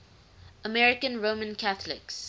american roman catholics